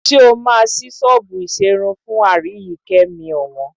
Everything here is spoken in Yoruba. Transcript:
Ṣé o máa ṣí ṣọ́ọ̀bù ìṣerun fún Aríyìíkẹ́ mi ọ̀wọ́n